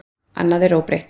Annað er óbreytt.